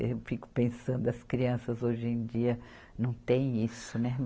Eu fico pensando, as crianças hoje em dia não têm isso, né?